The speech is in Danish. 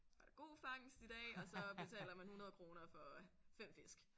Var der god fangst i dag og så betaler man 100 kroner for 5 fisk